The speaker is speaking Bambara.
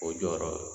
O jɔyɔrɔ do